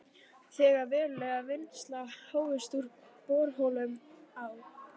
Þegar veruleg vinnsla hófst úr borholum á